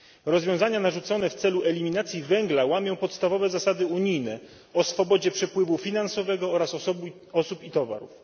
Rozwiązania narzucone w celu eliminacji węgla łamią podstawowe zasady unijne o swobodzie przepływu finansowego oraz osób i towarów.